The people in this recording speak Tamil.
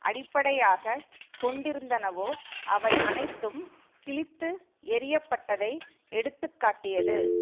அடிப்படையாக கொண்டிருந்தனவோ அவை அனைத்தும் கிழித்து எறிய பட்டதை எடுத்து காட்டியது